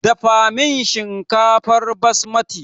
Dafa min shinkafar basmati!